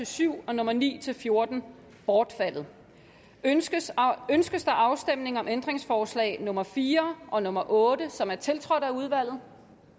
syv og nummer ni fjorten bortfaldet ønskes ønskes afstemning om ændringsforslag nummer fire og nummer otte som er tiltrådt af udvalget